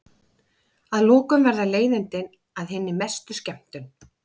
Að lokum verða leiðindin að hinni mestu skemmtun.